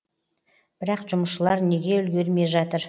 бірақ жұмысшылар неге үлгермей жатыр